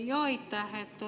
Aitäh!